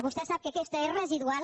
vostè sap que aquesta és residual